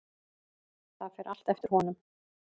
Það fer allt eftir honum.